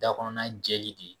Dakɔnɔna jɛli de